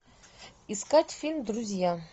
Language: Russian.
искать фильм друзья